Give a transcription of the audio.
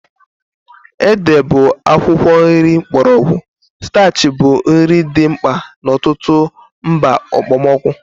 Ede bụ akwụkwọ nri mgbọrọgwụ starchy bụ nri dị mkpa n'ọtụtụ mba okpomọkụ.